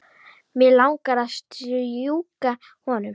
Mig langar að strjúka honum.